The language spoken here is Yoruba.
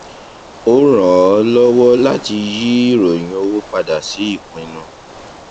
ó ràn ọ lọwọ láti yí ìròyìn owó padà sí ìpinnu